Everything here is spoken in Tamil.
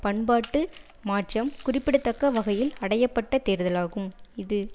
பண்பாட்டு மாற்றம் குறிப்பிடத்தக்க வகையில் அடைய பட்ட தேர்தலாகும் இது